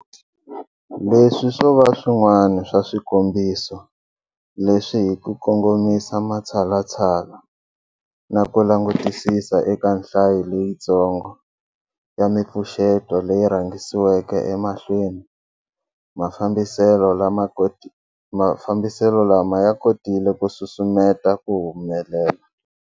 Leswi swo va swin'wana swa swikombiso leswi hi ku kongomisa matshalatshala na ku langutisisa eka nhlayo leyitsongo ya mipfuxeto leyi rhangisiweke emahlweni, mafambiselo lama ya kotile ku susumeta ku humelela.